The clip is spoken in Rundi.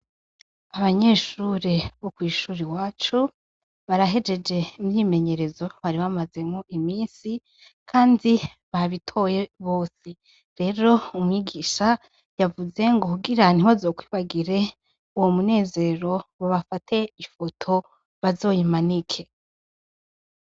Abanyeshure bo kwishure iwacu barahejeje imyimenyerezo bari bamazemwo imisi kandi babitoye gose rero umwigisha yavuze ngo kugira ntibazokwibagire uwo munezero ngo bafate ifoto bazoyimanike.